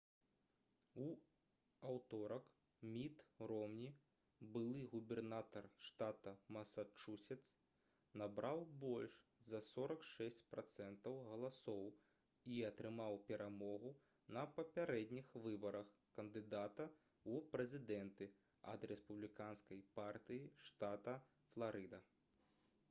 у аўторак міт ромні былы губернатар штата масачусетс набраў больш за 46 працэнтаў галасоў і атрымаў перамогу на папярэдніх выбарах кандыдата ў прэзідэнты ад рэспубліканскай партыі штата фларыда